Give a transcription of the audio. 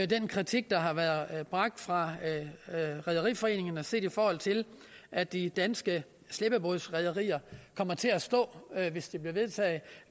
den kritik der har været bragt fra rederiforeningen og set i forhold til at de danske slæbebådsrederier kommer til at stå hvis det bliver vedtaget